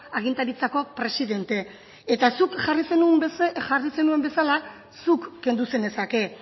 agintaritzako presidente eta zuk jarri zenuen bezala zuk kendu zenezake